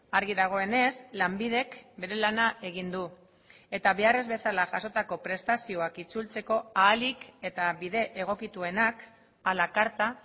argi dagoenez lanbidek bere lana egin du eta behar ez bezala jasotako prestazioak itzultzeko ahalik eta bide egokituenak a la carta